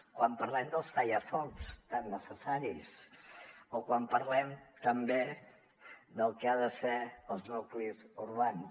quan parlem dels tallafocs tan necessaris o quan parlem també del que han de ser els nuclis urbans